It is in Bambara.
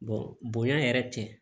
bonya yɛrɛ tɛ